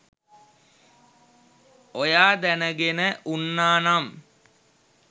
ඔයා දැනගෙන උන්නානම්